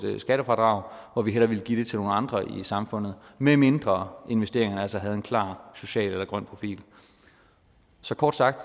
skattefradrag hvor vi hellere ville give det til nogle andre i samfundet medmindre investeringerne altså havde en klar social eller grøn profil så kort sagt